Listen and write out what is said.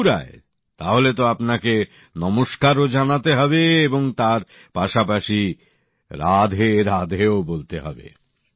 মথুরায় তাহলে তো আপনাকে নমস্কারও জানাতে হবে এবং তাঁর পাশাপাশি রাধেরাধেও বলতে হবে